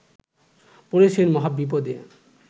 পড়েছেন মহাবিপদে